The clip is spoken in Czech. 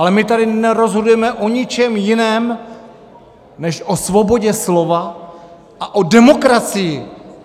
Ale my tady nerozhodujeme o ničem jiném než o svobodě slova a o demokracii.